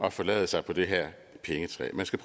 at forlade sig på det her pengetræ man skal